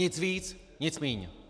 Nic víc, nic míň.